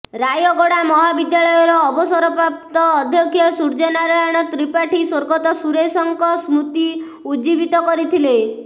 ରାୟଗଡ଼ା ମହାବିଦ୍ୟାଳୟର ଅବସରପ୍ରାପ୍ତ ଅଧ୍ୟକ୍ଷ ସୁର୍ଯ୍ୟନାରାୟଣ ତ୍ରିପାଠୀ ସ୍ୱର୍ଗତ ସୁରେଶଙ୍କ ସ୍ମୃତି ଉଜ୍ଜୀବିତ କରିଥିଲେ